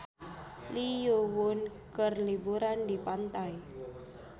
Lee Yo Won keur liburan di pantai